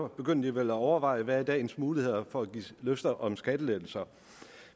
begynder at overveje hvad dagens muligheder er for at give løfter om skattelettelser